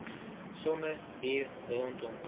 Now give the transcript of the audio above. sommer hier rondom